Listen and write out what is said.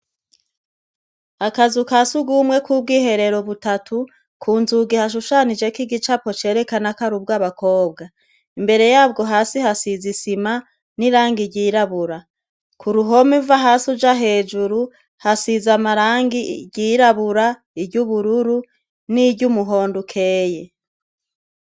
Akazu ka sugumwe kubwiherero butatu, kunzugi hashushanijek’igicapo cerekana k’arubwabakobwa. Imbere yabwo hasi hasiz’isima, n’irangi ryirabura, kuruhom’uva has’uja hejuru, hasizamarangi iryirabura, iry’ubururu niry’umuhond’ukeye.